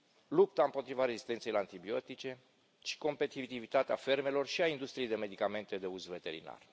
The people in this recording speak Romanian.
lupta împotriva rezistenței la antibiotice și competitivitatea fermelor și a industriei de medicamente de uz veterinar.